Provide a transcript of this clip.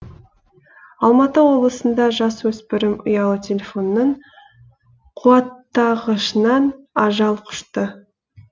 алматы облысында жасөспірім ұялы телефонның қуаттағышынан ажал құшты